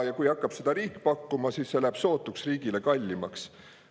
Kui riik hakkab seda, siis see läheb riigile sootuks kallimaks.